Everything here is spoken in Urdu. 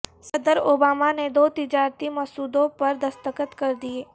صدر اوباما نے دو تجارتی مسودوں پر دستخط کر دیے